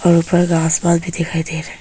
और ऊपर आसमान भी दिखाई दे रहा है।